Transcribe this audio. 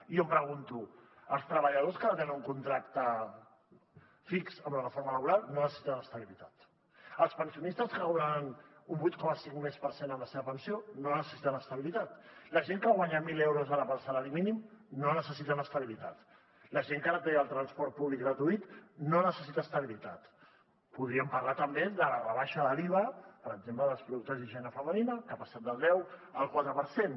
i jo em pregunto els treballadors que no tenen un contracte fix amb la reforma laboral no necessiten estabilitat els pensionistes que cobraran un vuit coma cinc per cent més en la seva pensió no necessiten estabilitat la gent que guanya mil euros ara pel salari mínim no necessiten estabilitat la gent que ara té el transport públic gratuït no necessita estabilitat podríem parlar també de la rebaixa de l’iva per exemple dels productes d’higiene femenina que han passat del deu al quatre per cent